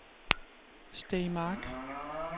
Stae Mark